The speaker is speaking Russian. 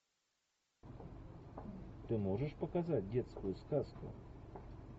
ты можешь показать детскую сказку